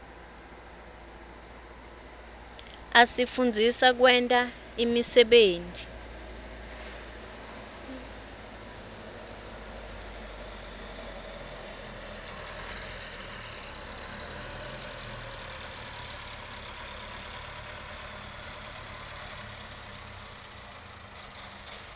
asifundzisa kwenta imisebenti